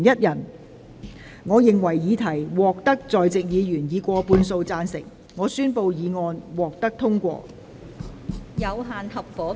由於議題獲得在席議員以過半數贊成，她於是宣布議案獲得通過。